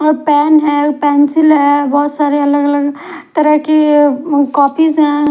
और पैन है पेंसिल है बोहोत सारे अगल अगल तरह के कॉपीस है।